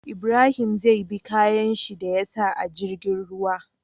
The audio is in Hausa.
Ibrahim zai bi kayan shi da yasa a jirgin ruwa